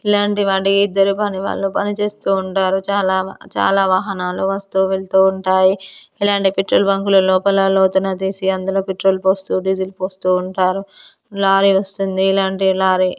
ఇలాంటివాన్ని జలపాని వాళ్లు పనిచేస్తూ ఉంటారు చాలా చాలా వాహనాలు వస్తూ వెళ్తూ ఉంటాయి ఇలాంటి పెట్రోల్ బంకుల లోతున తీసి అందులో పెట్రోల్ పోస్తూ డీజిల్ పోస్తూ ఉంటారు లారీ వస్తుంది ఇలాంటి లారీ --